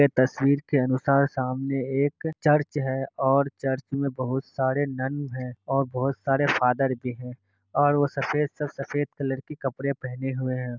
ये तस्वीर के अनुसार सामने एक चर्च है। और चर्च मैं बहोत सारे नन है और बहोत सारे फादर भी है। और वो सफ़ेद सब सफ़ेद कलर के कपडे पेहने हुए है।